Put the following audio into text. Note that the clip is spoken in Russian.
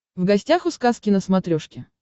в гостях у сказки на смотрешке